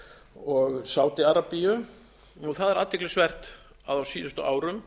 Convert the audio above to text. og sádi arabíu það er athyglisvert að á síðustu árum